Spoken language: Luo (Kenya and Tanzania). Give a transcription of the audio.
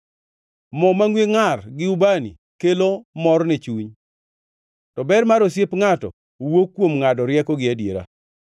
Moo mangʼwe ngʼar gi ubani kelo mor ne chuny, to ber mar osiep ngʼato wuok kuom ngʼado rieko gi adiera.